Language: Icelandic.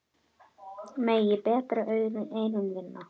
Megi betri eyrun vinna.